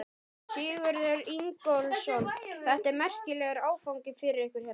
Sigurður Ingólfsson: Þetta er merkilegur áfangi fyrir ykkur hérna?